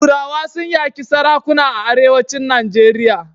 Turawa sun yaƙi sarakuna a Arewacin Najeriya.